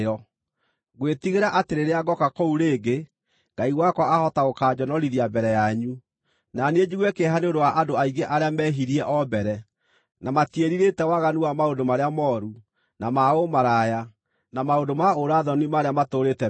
Ngwĩtigĩra atĩ rĩrĩa ngooka kũu rĩngĩ, Ngai wakwa ahota gũkanjonorithia mbere yanyu, na niĩ njigue kĩeha nĩ ũndũ wa andũ aingĩ arĩa meehirie o mbere, na matiĩrirĩte waganu wa maũndũ marĩa mooru, na ma ũmaraya, na maũndũ ma ũũra-thoni marĩa matũũrĩte meekaga.